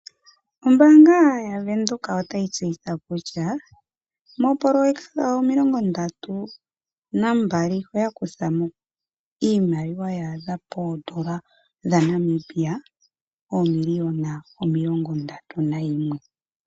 Ombaanga yaVenduka otayi tseyitha kutya moopoloyeka dhawo omilongo ndatu nambali oya kutha mo iimaliwa ya adha poodola dhaNamibia oomiliyona omilongo ndatu nayimwe.